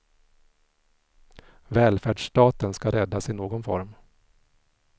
Välfärdsstaten ska räddas i någon form.